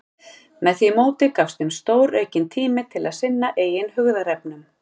Með því móti gafst þeim stóraukinn tími til að sinna eigin hugðarefnum.